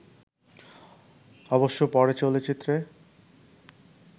অবশ্য পরে চলচ্চিত্রে